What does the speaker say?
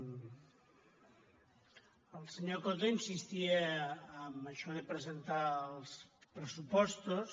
el senyor coto insistia en això de presentar els pressupostos